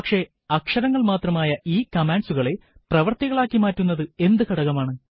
പക്ഷെ അക്ഷരങ്ങൾ മാത്രമായ ഈ കമാൻഡ്സുകളെ പ്രവർത്തികളാക്കി മാറ്റുന്നത് എന്ത് ഘടകമാണ്